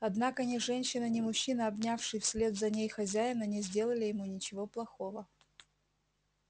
однако ни женщина ни мужчина обнявший вслед за ней хозяина не сделали ему ничего плохого